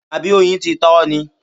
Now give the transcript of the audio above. Àbí oyin ti ta ọ́ ni?